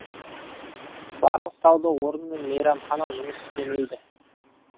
барлық сауда орны мен мейрамхана жұмыс істемейді